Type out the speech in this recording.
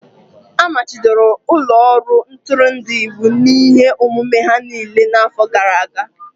A machibidoro ụlọ ọrụ ntụrụndụ iwu n'ihe omume ha niile n'afọ gara aga.